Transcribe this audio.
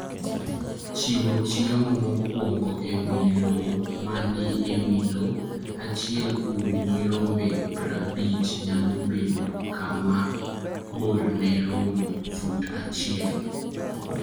Chiwo chiemo mokwongo e wi lowo ma ni e wi lowo. Achiel kuom nyirombe prabich nyalo bedo kama borne romo fut achiel.